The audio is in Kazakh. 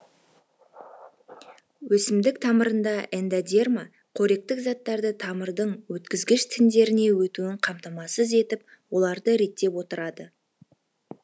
өсімдік тамырында эндодерма қоректік заттарды тамырдың өткізгіш тіндеріне өтуін қамтамасыз етіп оларды реттеп отырады